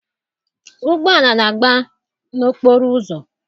Ụgbọala na-agba n'okporoụzọ.